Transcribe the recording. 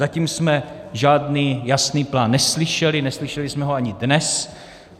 Zatím jsme žádný jasný plán neslyšeli, neslyšeli jsme ho ani dnes.